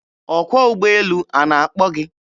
Ọkwọ ụgbọelu a na-akpọ gị?